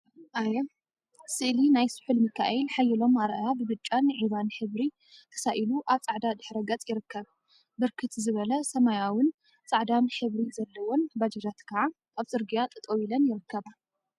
አየ! ስእሊ ናይ ስሑል ሚካኤል ሓየሎም አርአያ ብብጫን ዒባን ሕብሪ ተሳኢሉ አብ ፃዕዳ ድሕረ ገፅ ይርከብ፡፡ ብርክት ዝበላ ሰማያዊን ፃዕዳን ሕብሪ ዘለወን ባጃጃት ከዓ አብ ፅርግያ ጠጠው ኢለን ይርከባ፡፡